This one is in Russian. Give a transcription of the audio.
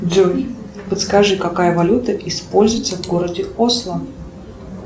джой подскажи какая валюта используется в городе осло